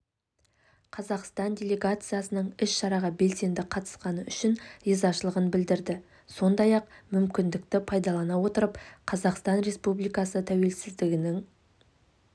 қазақстандық делегацияның іс-шараға белсенді қатысқаны үшін ризашылығын білдірді сондай-ақ мүмкіндікті пайдалана отырып қазақстан республикасы тәуелсіздігінің